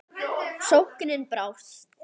Sóknin brást.